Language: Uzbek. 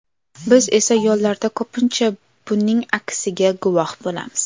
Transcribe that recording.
Biz esa yo‘llarda ko‘pincha buning aksiga guvoh bo‘lamiz.